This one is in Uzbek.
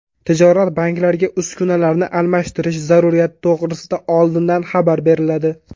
Tijorat banklariga uskunalarni almashtirish zaruriyati to‘g‘risida oldindan xabar beriladi.